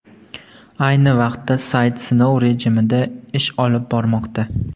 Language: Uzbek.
Ayni vaqtda sayt sinov rejimida ish olib bormoqda.